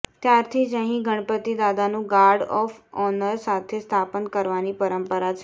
ત્યારથી જ અહીં ગણપતિ દાદાનું ગાર્ડ ઓફ ઓનર સાથે સ્થાપન કરવાની પરંપરા છે